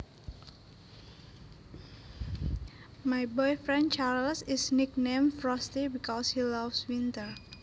My boyfriend Charles is nicknamed Frosty because he loves winter